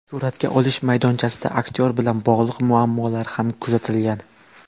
Suratga olish maydonchasida aktyor bilan bog‘liq muammolar ham kuzatilgan.